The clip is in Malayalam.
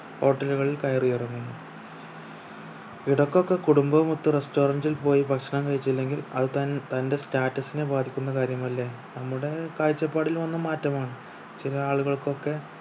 hotel കളിൽ കയറി ഇറങ്ങുന്നു ഇടക്കൊക്കെ കുടുംബവും ഒത്ത് restaurant ഇൽ പോയി ഭക്ഷണം കഴിച്ചില്ലെങ്കിൽ അത് തൻ തന്റെ status നെ ബാധിക്കുന്ന കാര്യമല്ലേ നമ്മുടെ കാഴ്ചപ്പാടിൽ വന്ന മാറ്റമാണ് ചില ആളുകൾക്കൊക്കെ